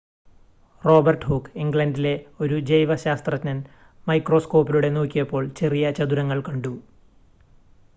Robert Hooke ഇംഗ്ലണ്ടില ഒരു ജൈവ ശാസ്ത്രജ്ഞൻ മൈക്രോസ്കോപ്പിലൂടെ നോക്കിയപ്പോൾ ചെറിയ ചതുരങ്ങൾ കണ്ടു